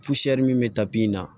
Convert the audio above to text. min bɛ tabi in na